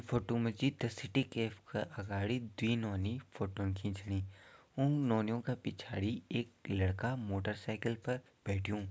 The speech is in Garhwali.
फोटो मा जी द सिटी कैफ़े का अगाड़ी दुई नौनी फोटोन खींचणी उं नौनियों का पिछाड़ी एक लड़का मोटर साइकिल पर बैठ्युं।